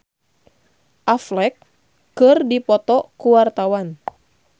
Rita Effendy jeung Ben Affleck keur dipoto ku wartawan